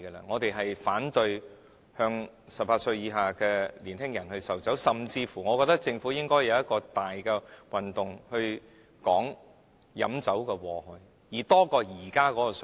我們反對向18歲以下的年輕人售酒，甚至我認為政府應該舉辦大型活動，宣傳飲酒的禍害，甚於現時的水平。